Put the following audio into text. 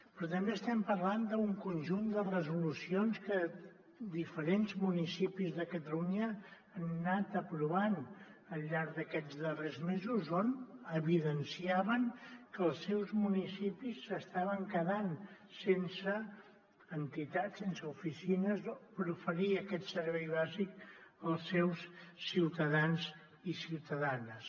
però també estem parlant d’un conjunt de resolucions que diferents municipis de catalunya han anat aprovant al llarg d’aquests darrers mesos on evidenciaven que els seus municipis s’estaven quedant sense entitats sense oficines per oferir aquest servei bàsic als seus ciutadans i ciutadanes